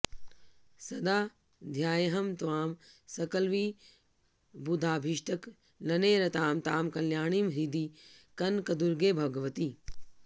सदा ध्यायेऽहं त्वां सकलविबुधाभीष्टकलने रतां तां कल्याणीं हृदि कनकदुर्गे भगवति